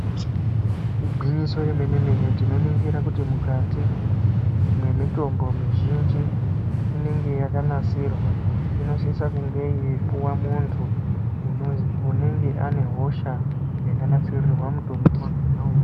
Igwinyiso remene-mene tinoningire kuti mukati mwemitombo mizhinji, inenge yakanasirwa inosise kunge yeipuwa muntu unenge ane hosha yakanasirirwa mutombo wakhona uwowo.